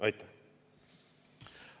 Aitäh!